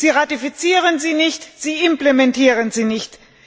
sie ratifizieren sie nicht, sie implementieren sie nicht.